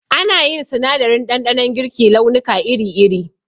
Ana yin sinadarin ɗanɗanon girki launuka iri iri